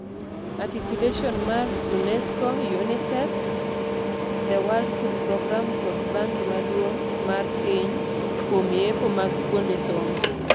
Articulation mar UNESCO, UNICEF, The world food programme kod Bangi maduong mar piny kuom yepo mag kuonde somo.